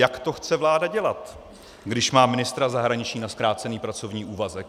Jak to chce vláda dělat, když má ministra zahraničí na zkrácený pracovní úvazek?